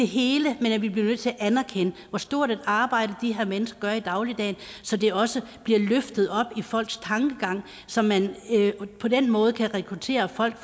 hele men vi bliver nødt til at anerkende hvor stort et arbejde de her mennesker gør i dagligdagen så det også bliver løftet op i folks tankegang så man på den måde kan rekruttere folk